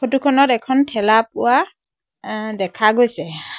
Photo খনত এখন ঠেলা পোৱা এ দেখা গৈছে।